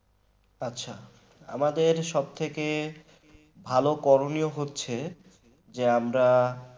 আচ্ছা আমাদের সবথেকে ভালো করণীয় হচ্ছে যে আমরা